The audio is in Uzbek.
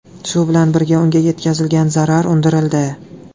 Shu bilan birga, unga yetkazilgan zarar undirildi.